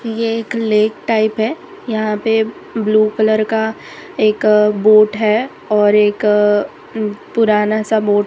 ये एक lake type है यहां पे ब्लू कलर का एक बोट है और एक अ पुराना सा बोट --